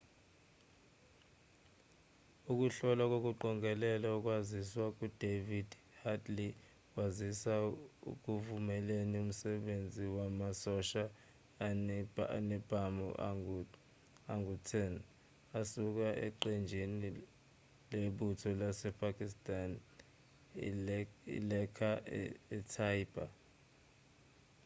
ukuhlola nokuqongelela ukwaziswa kukadavid headley kwasiza ekuvumeleni umsebenzi wamasosha anezibhamu angu-10 asuka eqenjini lebutho lasepakistan ilaskhar-e-taiba